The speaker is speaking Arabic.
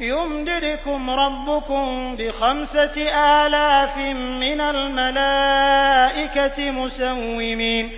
يُمْدِدْكُمْ رَبُّكُم بِخَمْسَةِ آلَافٍ مِّنَ الْمَلَائِكَةِ مُسَوِّمِينَ